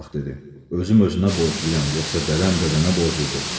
Özüm özünə borcluyam, yoxsa dədəm dədənə borcludur?